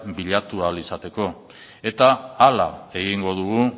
bilatu ahal izateko eta hala egingo dugu